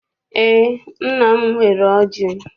Eé, nna m nwere ọjị.